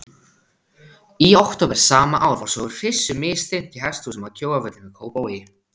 Í október sama ár var svo hryssu misþyrmt í hesthúsum að Kjóavöllum í Kópavogi.